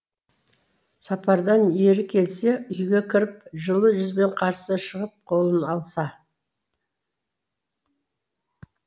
сапардан ері келсе үйге кіріп жылы жүзбен қарсы шығып қолын алса